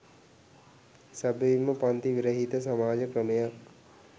සැබවින්ම පංති විරහිත සමාජ ක්‍රමයක්